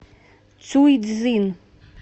цюйцзин